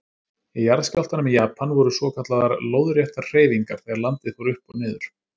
Í jarðskjálftanum í Japan voru svokallaðar lóðréttar hreyfingar þegar landið fór upp og niður.